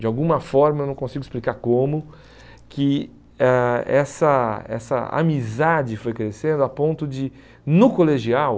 De alguma forma, não consigo explicar como, que ah essa essa amizade foi crescendo a ponto de, no colegial,